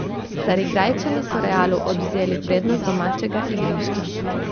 Carigrajčani so Realu odvzeli prednost domačega igrišča.